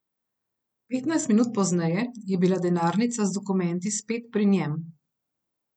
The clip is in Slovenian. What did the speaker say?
Petnajst minut pozneje je bila denarnica z dokumenti spet pri njem.